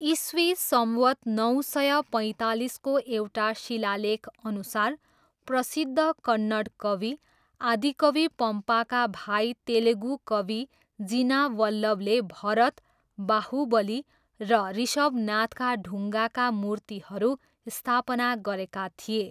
इस्वी सम्वत् नौ सय पैँतालिसको एउटा शिलालेखअनुसार प्रसिद्ध कन्नड कवि आदिकवि पम्पाका भाइ तेलुगु कवि जिना वल्लभले भरत, बाहुबली र ऋषभनाथका ढुङ्गाका मूर्तिहरू स्थापना गरेका थिए।